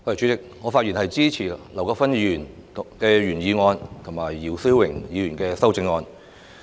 主席，我發言支持劉國勳議員的原議案及姚思榮議員的修正案。